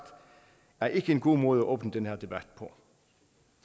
er ikke en god måde at åbne den her debat